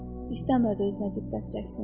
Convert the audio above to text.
İstəmədi özünə diqqət çəksin.